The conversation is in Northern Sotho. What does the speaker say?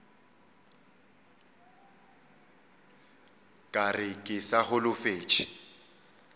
ka re ke sa holofetše